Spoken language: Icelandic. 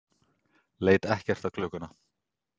leit ekkert á klukkuna.